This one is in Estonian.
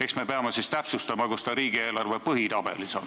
Eks me peame siis täpsustama, kus see riigieelarve põhitabelis on.